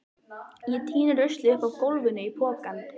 Ég týni ruslið upp af gólfinu í pokann.